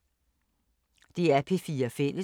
DR P4 Fælles